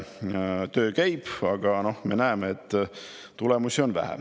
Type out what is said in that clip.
Töö käib, aga me näeme, et tulemusi on vähe.